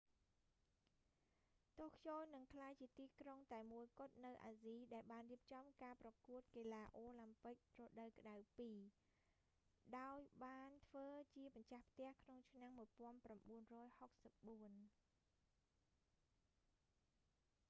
តូក្យូនឹងក្លាយជាទីក្រុងតែមួយគត់នៅអាស៊ីដែលបានរៀបចំការប្រកួតកីឡាអូឡាំពិករដូវក្តៅពីរ ដោយបានធ្វើជាម្ចាស់ផ្ទះក្នុងឆ្នាំ 1964